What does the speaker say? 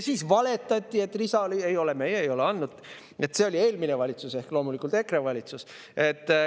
Siis valetati, et lisa nad andnud ei ole, see oli eelmine valitsus ehk loomulikult EKRE valitsus.